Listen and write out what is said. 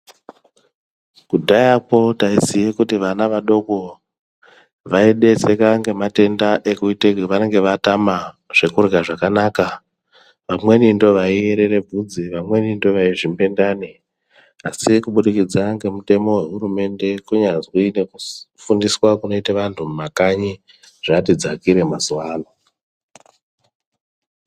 Kudhayako taiziya kuti vana vadoko vaineseka nematenda ekuti vanenge vatama zvekurya zvakanaka vamweni ndivo vaierera bvudzi vamweni ndivo vaizvimbe ndani ASI kubudikidza nemitemo wehurumende kunyazi nekufundiswa kunoitwa vantu mumakanyi zvati dzakire mazuwa ano.